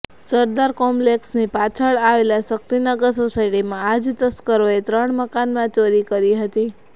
સરદાર કોમ્પ્લેક્સની પાછળ આવેલ શક્તિનગર સોસાયટીમાં આ જ તસ્કરોએ ત્રણ મકાનમાં ચોરી કરી હતી